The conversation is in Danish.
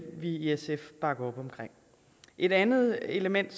vi i sf bakke op om et andet element